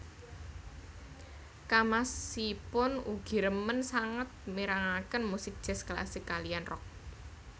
Kamasipun ugi remen sanget mirengaken musik jazz klasik kaliyan rock